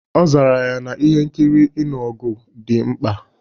Ọ zara ya na ihe nkiri ịnụ ọgụ dị mkpa